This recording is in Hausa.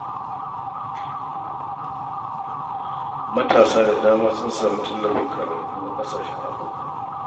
Matasa da dama sun samu tallafin karatu na ƙasashen Afirka